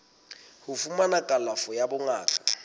ho fumana kalafo ya bongaka